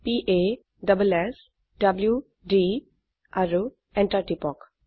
p a s s w d আৰু enter টিপক